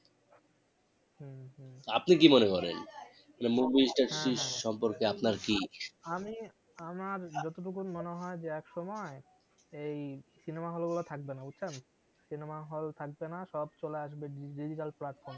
আপনি কি মনে করেন? মানে movie টার সম্পর্কে আপনার কি আমি আমার যতটুক মনে হয় যে একসময় এই cinema hall গুলো থাকবেনা বুঝছেন cinema hall থাকবেনা সব চলে আসবে digital platform